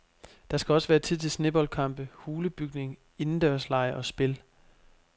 Der skal også være tid til sneboldkampe, hulebygning, indendørslege og spil.